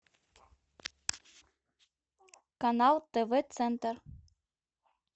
канал тв центр